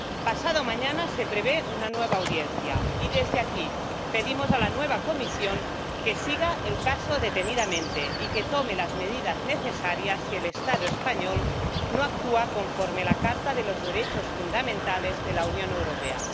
Pasado mañana se prevé una nueva audiencia y desde aquí pedimos a la nueva Comisión que siga el caso detenidamente y que tome las medidas necesarias si el Estado español no actúa conforme a la Carta de los Derechos Fundamentales de la Unión Europea.